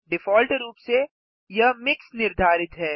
default रूप से यह मिक्स निर्धारित है